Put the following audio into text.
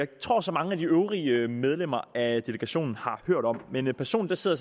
tror så mange af de øvrige medlemmer af delegationen har hørt om personligt sidder